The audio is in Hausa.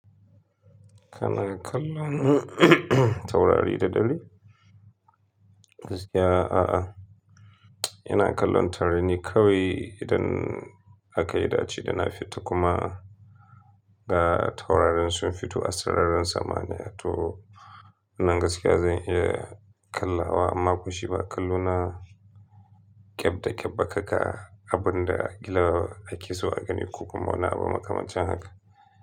Kana kallon taurari da dare? Gaskiya a'a. Ina kallon taurari ne kawai idan aka yi daci dana fita kuma ga taurarin sun fito a sararin sama ne. Ya To nan gaskiya zan iya kallawa amma ko shiba kalluna keɓ da keɓɓa kaka abin da gila ake so a gani ko kuma bana ba makamancin haka.